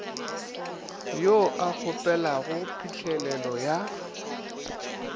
yo a kgopelago phihlelelo ya